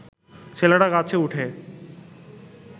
ছেলেরা গাছে উঠে